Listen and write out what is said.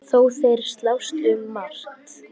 Þó þeir slást um margt.